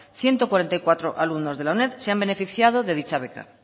ciento cuarenta y cuatro alumnos de la uned se han beneficiado de dicha beca